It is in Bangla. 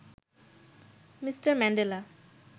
Mr Mandela